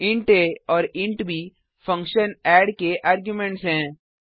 int आ और int ब फंक्शन एड के आर्गुमेंट्स हैं